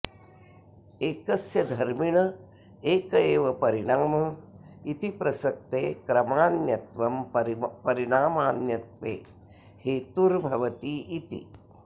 एकस्य धर्मिण एक एव परिणाम इति प्रसक्ते क्रमान्यत्वं परिणामान्यत्वे हेतुर्भवतीति